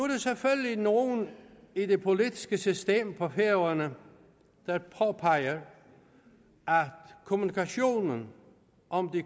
er nogle i det politiske system på færøerne der påpeger at kommunikationen om de